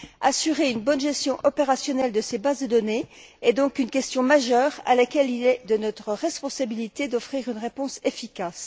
Assurer une bonne gestion opérationnelle de ces bases de données est donc une question majeure à laquelle il est de notre responsabilité d'offrir une réponse efficace.